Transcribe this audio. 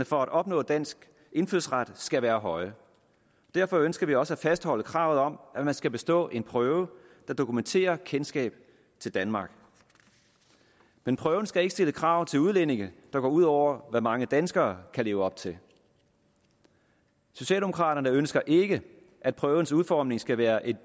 for at opnå dansk indfødsret skal være høje derfor ønsker vi også at fastholde kravet om at man skal bestå en prøve der dokumenterer kendskab til danmark men prøven skal ikke stille krav til udlændinge der går ud over hvad mange danskere kan leve op til socialdemokraterne ønsker ikke at prøvens udformning skal være et